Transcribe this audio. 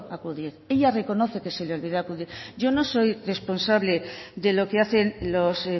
acudir ella reconoce que se le olvidó acudir yo no soy responsable de lo que hacen los